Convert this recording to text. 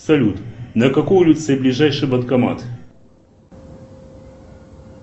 салют на какой улице ближайший банкомат